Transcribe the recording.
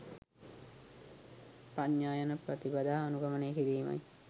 ප්‍රඥා යන ප්‍රතිපදා අනුගමනය කිරීමයි.